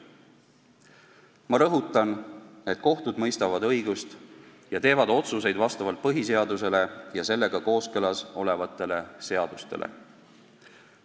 Ma rõhutan, et kohtud mõistavad õigust ja teevad otsuseid vastavalt põhiseadusele ja sellega kooskõlas olevatele seadustele.